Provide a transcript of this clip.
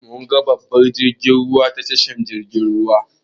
Mun ga babban jirgin ruwa a tashar jirgin ruwa.